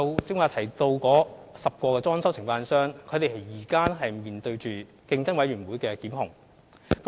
剛才提到的10間裝修承辦商現正面對競委會的檢控。